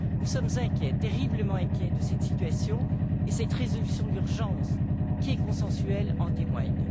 Nous sommes terriblement inquiets de cette situation, et cette résolution d'urgence, qui est consensuelle, en témoigne.